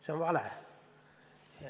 See on vale.